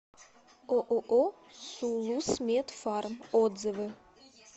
ооо сулусмедфарм отзывы